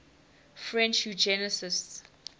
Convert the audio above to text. french eugenicists